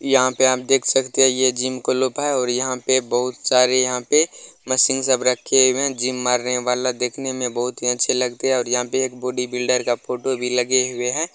यहाँ पे आप देख सकते है ये जिम क्लोयब है और यहाँ पे बहुत सारे यहाँ पे मशीन सब रखे हुए है जिम मारने वाला देखने मे बहुत ही अच्छे लगते है और यहाँ पे एक बोडी बिल्डर का फोटो भी लगे हुए है।